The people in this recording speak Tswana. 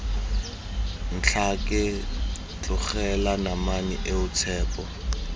ntlhake tlogela namane eo tshepo